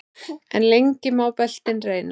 En lengi má beltin reyna.